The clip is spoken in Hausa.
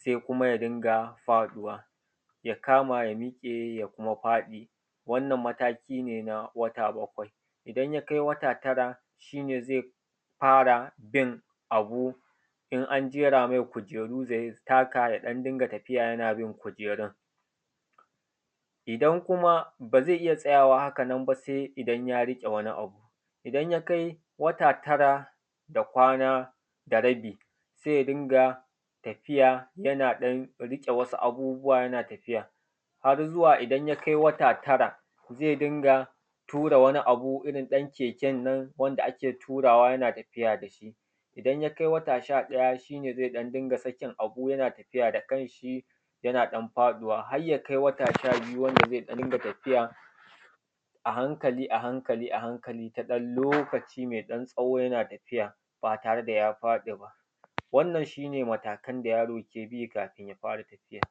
Saːiː kumaː yaː dingaː faɗuːwaː yaː kamaː, yaː miƙeː, yaː kumaː faɗiː. Wannan, mataːkiː uːkuː neː naː waːtaː baːkwai. Idan yaː kaːiː waːtaː taraː, shiː neː zaːiː faːraː bin aːbuː: in aːn jeraː maːi k’ujeːruː, zaːiː takaː yanaː ɗan dingaː tafiːyaː yanaː bin k’ujeːruː. Idan kumaː baː zaːiː iyaː tsayaːwaː haːkaː nan baː, saːiː idan yaː riƙeː aːbuː. Idan yaː kaːiː waːtaː taraː daː kwanaː daː raːbiː, zaːiː dingaː tafiːyaː yanaː ɗan riƙeː waːɗ’uː aːbuːb’uːwaː, yanaː tafiːyaː, har zuwaː idan yaː kaːiː waːtaː taraːn, zaːiː dingaː tuːraː waniː aːbuː, irin ɗaːn keːken nan wandaː aːkeː tuːraːwaː, yanaː tafiːyaː daː shiː. Idan yaː kaːiː waːtaː shaː-ɗayaː, shiː neː zaːiː ɗan dingaː sakin aːbuː, yanaː tafiːyaː daː kan shiː, yanaː ɗan faɗuːwaː, har yaː kaːiː waːtaː shaː biːyuː, wandaː zaːiː ɗan dingaː tafiːyaː aː hankaːliː, aː hankaːliː, aː hankaːliː, naː ɗan loːkaːciː maːiː ɗan tsaːwoː, yanaː tafiːyaː baː tareː daː yaː faɗiː baː. Wannan, shiː neː mataːkan daː yaːroː keː biː kaːfin yaː faːraː tafiːyaː.